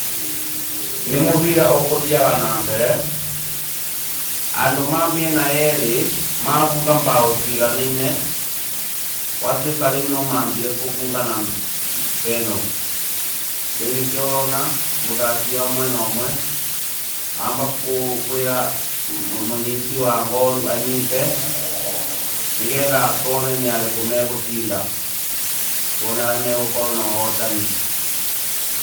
Nĩ mũbira ũkũthiaga na mbere, andũ ma mĩena yeerĩ, mabunga mbaũ ciiganine, gwatuĩka rĩu no mambire kũbungana mbeno, rĩu nĩkĩ ũrona mũthaki wa mwena ũmwe, amba kwĩra mũnyiti wa ngoru anyite, nĩgetha tuone nĩarĩkũ megũcinda, tuone arĩa megũkorwo na ũhotani.